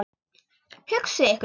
Hugsið ykkur.